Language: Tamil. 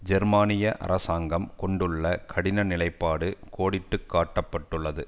ஜெர்மனிய அரசாங்கம் கொண்டுள்ள கடின நிலைப்பாடு கோடிட்டு காட்டுப்பட்டுள்ளது